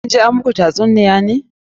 Kun je an muku tatsuniya ne?